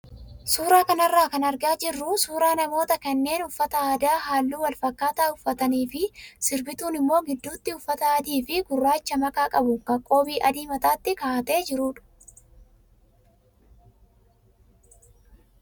Suuraa kanarraa kan argaa jirru suuraa namoota kanneen uffata aadaa halluu wal fakkaataa uffatanii fi sirbituun immoo gidduutti uffata adii fi gurraacha makaa qabu kan qoobii adii mataatti kaa'atee jirudha.